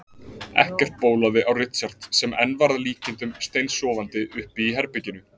Ekkert bólaði á Richard sem enn var að líkindum steinsofandi uppi í herberginu.